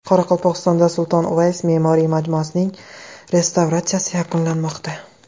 Qoraqalpog‘istonda Sulton Uvays me’moriy majmuasining restavratsiyasi yakunlanmoqda.